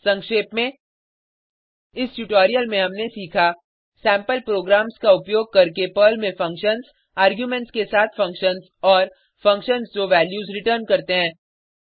संक्षेप में इस ट्यूटोरियल में हमने सीखा सेम्पल प्रोग्राम्स का उपयोग करके पर्ल में फंक्शन्स आर्गुमेंट्स के साथ फंक्शन्स और फंक्शन्स जो वैल्यूज़ रिटर्न करते हैं